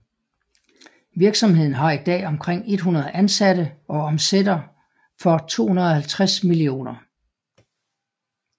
Virksomheden har i dag omkring 100 ansatte og omsætter for 250 mio